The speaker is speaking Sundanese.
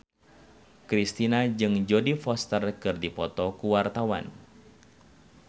Kristina jeung Jodie Foster keur dipoto ku wartawan